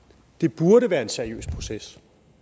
er faktisk en seriøs proces